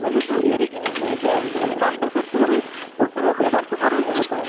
family তো এৰি কিনে যায় কিমান বছৰতো আৰু বছৰত এবাৰ দুবাৰহে ঘৰত আহে